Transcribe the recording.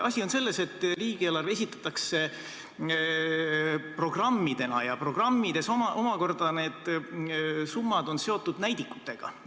Asi on selles, et riigieelarve esitatakse programmidena ja programmides omakorda on summad seotud näidikutega.